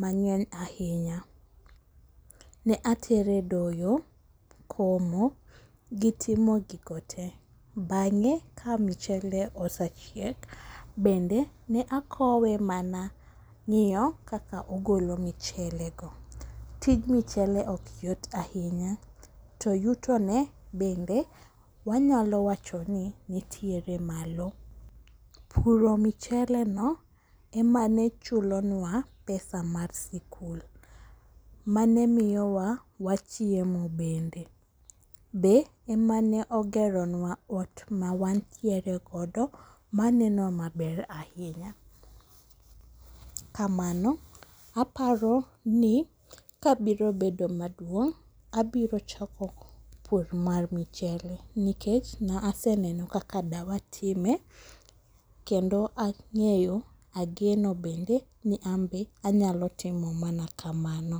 mang'eny ahinya. Ne atere doyo ,komo gi timo gigo te bang'e ka mchele osechiek, bende ne akowe mana ng'iyo kaka ogolo michelego. tij mchele ok yot ahinya to yutone bende wanyalo wacho ni nitiere malo. Puro micheleno ema ne chulonwa pesa mar sikul, mane miyowa wachiemo bende. Be ema ne ogero nwa ot ma wantiere godo maneno maber ahinya, kamano, aparo ni ka biro bedo maduong',abiro chako pur mar michele nikech ne aseneno kaka dawa time, kendo ang'eyo ,ageno bende ni anbe anyalo timo mana kamano.